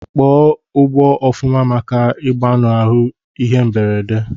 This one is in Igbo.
Kpọọ ugbọ ofuma maka igbanahu ihe mberede!!